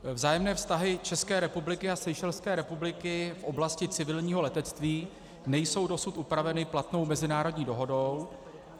Vzájemné vztahy České republiky a Seychelské republiky v oblasti civilního letectví nejsou dosud upraveny platnou mezinárodní dohodou.